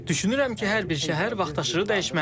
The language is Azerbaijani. Düşünürəm ki, hər bir şəhər vaxtaşırı dəyişməlidir.